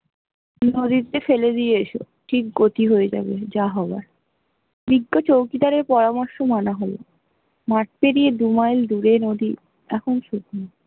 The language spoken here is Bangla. নদীতে ফেলে দিয়ে এসো ঠিক গতি হয়ে যাবে যা হবার বিজ্ঞ চৌকিদার দার এর পরামর্শ মানা হল, মাঠ পেরিয়ে দু মাইল দূরে নদী এখন শুখনো ।